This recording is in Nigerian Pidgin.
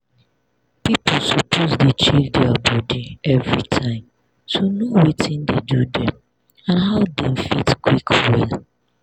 people suppose dey check their body everytime to know watin dey do dem and how dem fit quick well